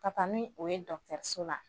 Ka taa ni o ye dɔgɔtɔrɔso la